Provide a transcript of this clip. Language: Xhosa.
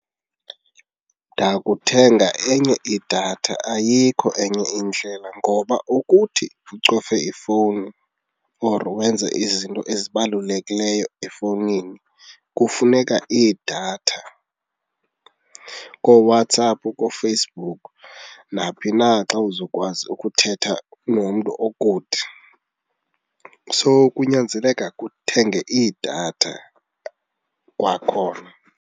Ndakuthenga enye idatha, ayikho enye indlela ngoba ukuthi ucofe ifowuni or wenze izinto ezibalulekileyo efowunini kufuneka idatha. KooWhatsApp, kooFacebook naphi na xa uzokwazi ukuthetha nomntu okude so kunyanzeleka uthenge idatha kwakhona.